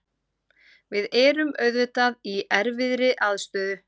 Við erum auðvitað í erfiðri aðstöðu.